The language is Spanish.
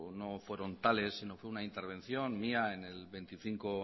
no fueron tales sino fue una intervención mía en el veinticinco